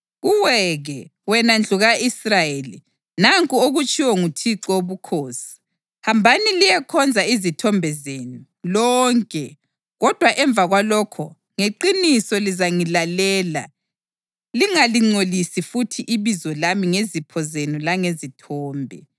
Kuwe-ke, wena ndlu ka-Israyeli, nanku okutshiwo nguThixo Wobukhosi: Hambani liyekhonza izithombe zenu, lonke! Kodwa emva kwalokho ngeqiniso lizangilalela lingalingcolisi futhi ibizo lami ngezipho zenu langezithombe.